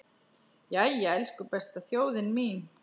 Jæja, elsku besta þjóðin mín!